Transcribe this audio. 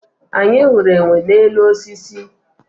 anyị hụrụ enwe n'elu osisi